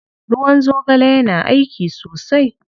Ruwan zogale yana aiki sosai.